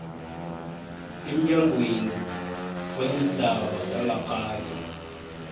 emnyangweni weendaba zangaphandle